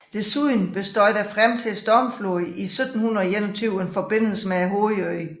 Desuden bestod frem til stormfloden i 1721 en forbindelse med hovedøen